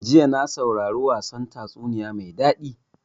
Jiya na saurara wasan tatsuniya mai daɗi.